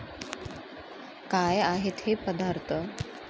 काय आहेत हे पदार्थ?